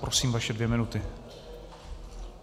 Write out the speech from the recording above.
Prosím, vaše dvě minuty.